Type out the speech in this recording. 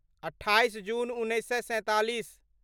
अट्ठाइस जून उन्नैस सए सैंतालीस